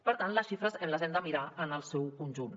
per tant les xifres en les hem de mirar en el seu conjunt